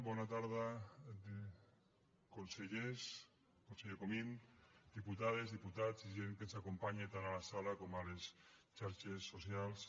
bona tarda consellers conseller comín diputades diputats i gent que ens acompanya tant a la sala com a les xarxes socials